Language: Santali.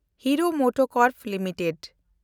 hero MotoCorp limited